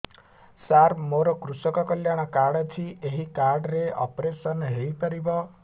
ସାର ମୋର କୃଷକ କଲ୍ୟାଣ କାର୍ଡ ଅଛି ଏହି କାର୍ଡ ରେ ଅପେରସନ ହେଇପାରିବ